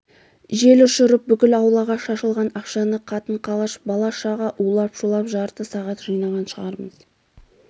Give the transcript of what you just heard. жел ұшырып бүкіл аулаға шашылған ақшаны қатын-қалаш бала-шаға улап-шулап жарты сағат жинаған шығармыз